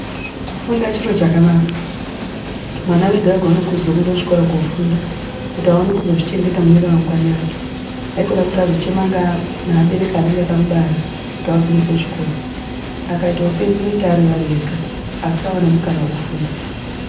Kufunda chiro chakanaka mwana wega wega anokurudzirwa kuenda kuchikora kofunda kuti aone kuzozvichengeta mune ramangwani ake aikona kuti azochema nevabereki vanenge vakamubara kuti azoendeswa kuchikora akaendeswa kuchikora akaita upenzi anoita ega akaita anoita Ari ega asaita mukana wekufunda.